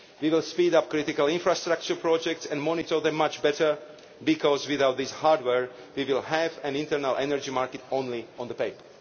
We will speed up critical infrastructure projects and monitor them much better because, without this hardware, we will have an internal energy market only on paper.